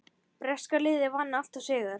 Breska liðið vann alltaf sigur.